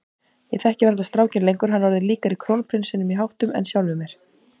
Ég þekki varla strákinn lengur, hann er orðinn líkari krónprinsinum í háttum en sjálfum mér.